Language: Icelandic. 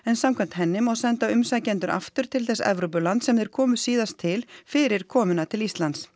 samkvæmt henni má senda umsækjendur aftur til þess Evrópulands sem þeir komu síðast til fyrir komuna til Íslands